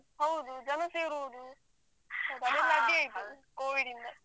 ಹೌದು ಜನ ಸೇರುವುದು ಅಲ್ಲೆಲ್ಲಾ ಅದೇ ಇದು covid ಯಿಂದ.